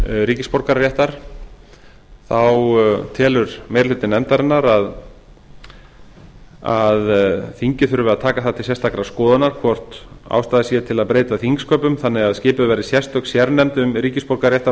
ríkisborgararéttar þá telur meiri hluti nefndarinnar að þingið þurfi að taka það til sérstakar skoðunar hvort ástæða sé til að breyta þingsköpum þannig að skipuð verði sérstök sérnefnd um